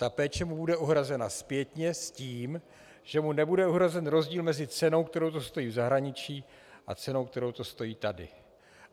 Ta péče mu bude uhrazena zpětně s tím, že mu nebude uhrazen rozdíl mezi cenou, kterou to stojí v zahraničí, a cenou, kterou to stojí tady.